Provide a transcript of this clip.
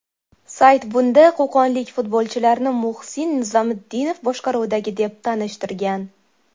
Sayt bunda qo‘qonlik futbolchilarni Muhsin Nizomiddinov boshqaruvidagi, deb tanishtirgan.